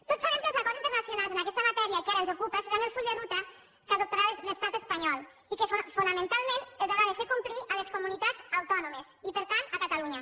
tots sabem que els acords internacionals en aquesta matèria que ara ens ocupa seran el full de ruta que adoptarà l’estat espanyol i que fonamentalment els haurà de fer complir a les comunitats autònomes i per tant a catalunya